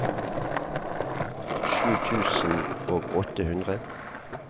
sju tusen og åtte hundre